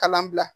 Kalan bila